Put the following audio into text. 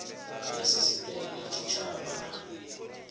ya sisiteme ya tshitshavha na